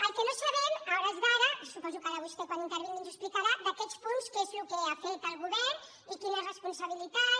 el que no sabem a hores d’ara suposo que ara vostè quan intervingui ens ho explicarà d’aquests punts què és el que ha fet el govern i quines responsabilitats